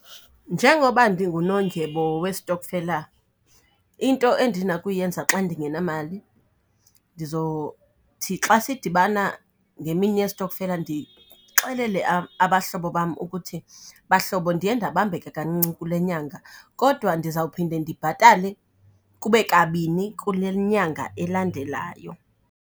Njengoba ndingunondyebo westokfela, into endinakuyenza xa ndingenamali xa sidibana ngemini yestokfela abahlobo bam ukuthi, bahlobo ndiye ndabambeka kancinci kule nyanga kodwa ndizawuphinde ndibhatale kube kabini kule nyanga elandelayo.